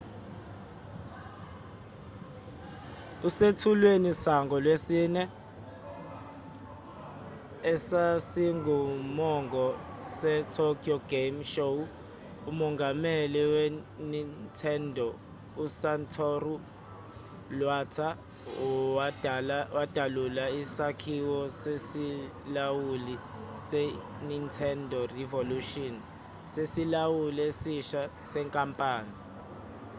esethulwenisangolwesine esasingumongo se-tokyo game show umongameli we-nintendo u-satoru iwata wadalula isakhiwo sesilawuli se-nintendo revolution sesilawuli esisha senkampani